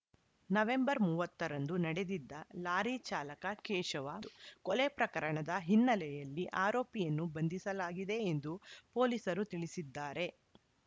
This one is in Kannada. ನವೆಂಬರ್ ಮೂವತ್ತ ರಂದು ನಡೆದಿದ್ದ ಲಾರಿ ಚಾಲಕ ಕೇಶವ ಕೊಲೆ ಪ್ರಕರಣದ ಹಿನ್ನೆಲೆಯಲ್ಲಿ ಆರೋಪಿಯನ್ನು ಬಂಧಿಸಲಾಗಿದೆ ಎಂದು ಪೊಲೀಸರು ತಿಳಿಸಿದ್ದಾರೆ